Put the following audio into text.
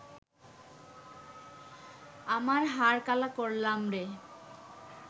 আমার হার কালা করলাম রে